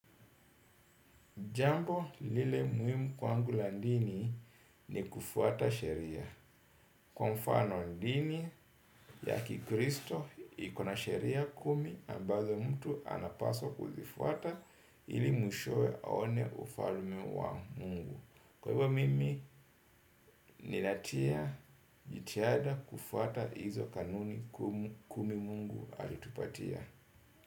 Jambo lile muhimu kwangu la dini ni kufuata sheria. Kwa mfano dini ya kikristo iko na sheria kumi ambazo mtu anapaswa kuzifuata ili mwishowe aone ufalme wa mungu. Kwa hivyo mimi ninatia jitihada kufuata hizo kanuni kumi mungu alitupatia.